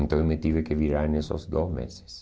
Então, eu me tive que virar nesses dois meses.